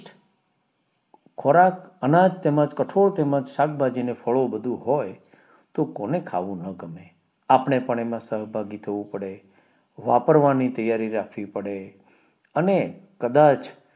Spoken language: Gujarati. ખોરાક અનાજ તેમજ કઠોળ તેમજ શાકભાજી ને ફાળો બધું હોય તો કોને ખાવું નો ગમે અપને પણ એમાં સહભાગી થવું પડે વાપરવાની તૈયારી રાખવી અને કદાચ